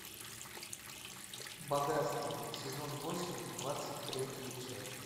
богатство сезон восемь двадцать третья часть